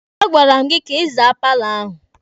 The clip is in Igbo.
A gwara m gị ka ị zaa paalọ ahụ!